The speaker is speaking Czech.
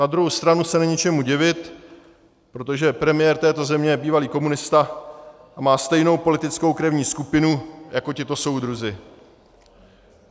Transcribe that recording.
Na druhou stranu se není čemu divit, protože premiér této země je bývalý komunista a má stejnou politickou krevní skupinu jako tito soudruzi.